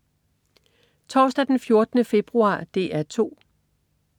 Torsdag den 14. februar - DR 2: